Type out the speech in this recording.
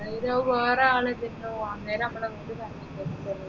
വേറെ ആളെ ഇതുണ്ടോ അന്നേരോ നമ്മളെ മുമ്പിൽ